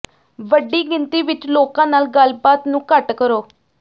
ਵੱਡੀ ਗਿਣਤੀ ਵਿੱਚ ਲੋਕਾਂ ਨਾਲ ਗੱਲਬਾਤ ਨੂੰ ਘੱਟ ਕਰੋ